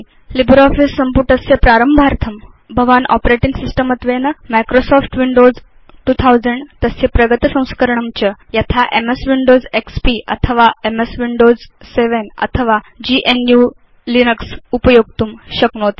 LibreOffice सम्पुटस्य प्रारम्भार्थं भवान् आपरेटिंग सिस्टम् त्वेन माइक्रोसॉफ्ट विंडोज 2000 तस्य प्रगत संस्करणं च यथा एमएस विंडोज एक्सपी अथवा एमएस विंडोज 7 अथवा gnuलिनक्स उपयोक्तुं शक्नोति